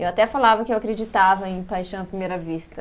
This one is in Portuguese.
Eu até falava que eu acreditava em paixão à primeira vista.